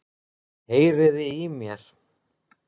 Heyriði í mér?